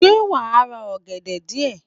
Ṣé wàá ra ògèdè díè